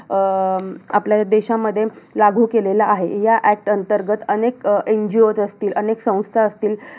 अं आपल्या देशामध्ये, लागू केलेला आहे. या act अंतर्गत अनेक अं NGO असतील, अनेक संस्था असतील.